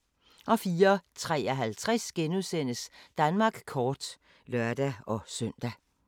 04:53: Danmark kort *(lør-søn)